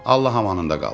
Allah amanında qal.